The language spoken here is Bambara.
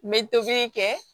N bɛ tobili kɛ